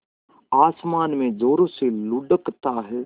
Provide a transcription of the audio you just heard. आसमान में ज़ोरों से लुढ़कता है